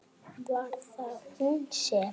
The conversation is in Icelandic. Var það hún sem.?